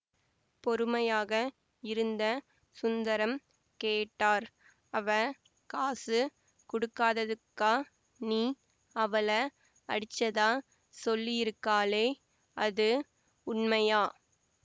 பொறுமையாக இருந்த சுந்தரம் கேட்டார் அவ காசு குடுக்காதத்துக்கா நீ அவள அடிச்சதா சொல்லியிருக்காளே அது உண்மையா